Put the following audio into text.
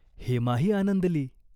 हेमाही आनंदली.